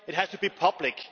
It has to be public.